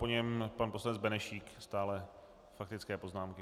Po něm pan poslanec Benešík, stále faktické poznámky.